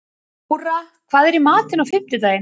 Þóra, hvað er í matinn á fimmtudaginn?